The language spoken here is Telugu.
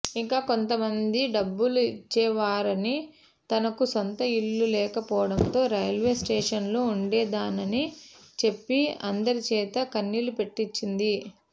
ఇంకొంతమంది డబ్బులు ఇచ్చేవారని తనకు సొంత ఇళ్లు లేకపోవడంతో రైల్వే స్టేషన్లో ఉండేదానని చెప్పి అందరిచేత కన్నీళ్లు పెట్టించింది